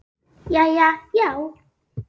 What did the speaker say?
Jæja, já.